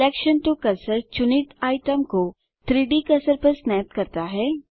selection to cursor चुनित item को 3डी कर्सर पर स्नैप करता है